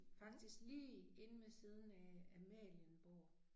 Faktisk lige inde ved siden af Amalienborg